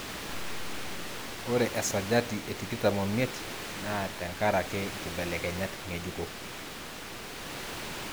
Ore esajati etikitam omiet naa tenkaraki nkibelekenyat ngejuko